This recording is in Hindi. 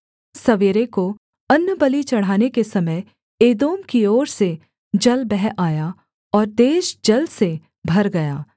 सवेरे को अन्नबलि चढ़ाने के समय एदोम की ओर से जल बह आया और देश जल से भर गया